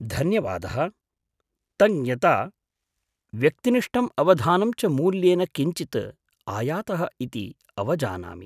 धन्यवादः। तञ्ज्ञता, व्यक्तिनिष्ठं अवधानं च मूल्येन किञ्चित् आयातः इति अवजानामि।